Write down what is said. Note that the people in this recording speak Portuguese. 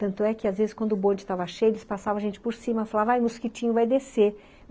Tanto é que, às vezes, quando o bonde estava cheio, eles passavam a gente por cima, falavam, ai, mosquitinho, vai descer.